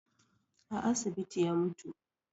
A asibiti ya mutu